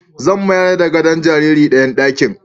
Zan mayar da gadon jariri dayan ɗakin